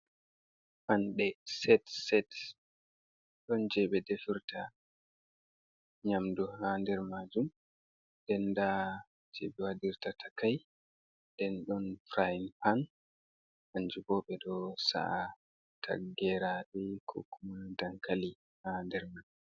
Fanɗe set-set ɗon jebe defirta nyamdu ha der majum. nden da je'i be wadirta takai. Ɗen ɗon furayin pan, kanje bo be ɗo sa'a ggeraɗe koku ma dankali ha nder man.